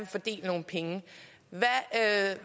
fordele nogle penge